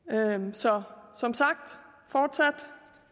så som sagt fortsat